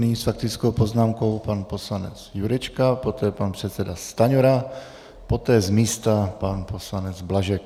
Nyní s faktickou poznámkou pan poslanec Jurečka, poté pan předseda Stanjura, poté z místa pan poslanec Blažek.